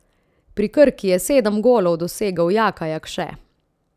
Pri Krki je sedem golov dosegel Jaka Jakše.